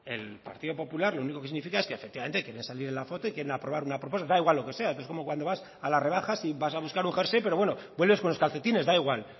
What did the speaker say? el partido popular lo único que significa es que quieren salir en la foto y quieren aprobar una proposición da igual lo que sea entonces es como cuando vas a las rebajas y vas a buscar un jersey pero bueno vuelves con los calcetines da igual